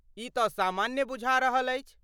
ई तऽ सामान्य बुझा रहल अछि।